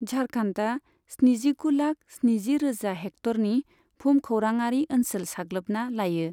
झारखान्डआ स्निजिगुलाख स्निजिरोजा हेक्टरनि भुमखौराङारि ओनसोल साग्लोबना लायो।